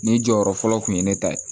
Ni jɔyɔrɔ fɔlɔ kun ye ne ta ye